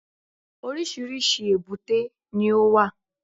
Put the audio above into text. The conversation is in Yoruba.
Oríṣìíríṣìí èbúté ni ó wà